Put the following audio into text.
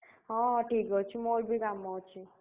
ହଁ, ଠିକ୍ ଅଛି, ମୋର ବି କାମ ଅଛି।